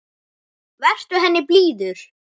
Vertu henni blíður.